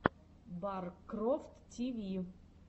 баркрофт ти ви